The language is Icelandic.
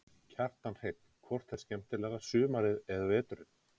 Kjartan Hreinn: Hvort er skemmtilegra sumarið eða veturinn?